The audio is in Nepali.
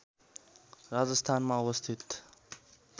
राजस्थानमा अवस्थित